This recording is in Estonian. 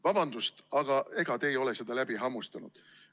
Vabandust, aga ega te ei ole seda läbi hammustanud.